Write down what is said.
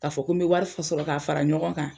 K'a fɔ ko me wari sɔrɔ k'a fara ɲɔgɔn kan